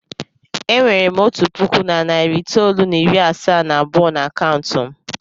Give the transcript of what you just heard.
E nwere m otu puku na narị itoolu na iri asaa na abụọ n'akaụntụ m.